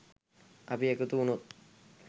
අපි එකතු වුණොත්